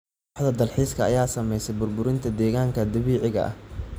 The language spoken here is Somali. Waaxda dalxiiska ayaa saameysay burburinta deegaanka dabiiciga ah.